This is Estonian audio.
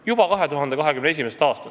– juba 2021. aastal.